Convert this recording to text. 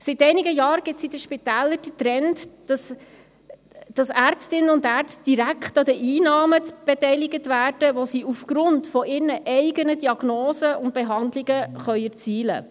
– Seit einigen Jahren gibt es in den Spitälern den Trend, Ärztinnen und Ärzte direkt an den Einnahmen zu beteiligen, die sie aufgrund ihrer eigenen Diagnosen und Behandlungen erzielen können.